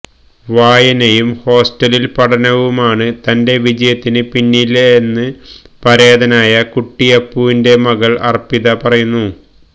വായനയും ഹോസ്റ്റലിൽ പഠനവുമാണ് തന്റെ വിജയത്തിന് പിന്നിലെന്ന് പരേതനായ കുട്ടിയപ്പുവിന്റെ മകൾ അർപ്പിത പറയുന്നു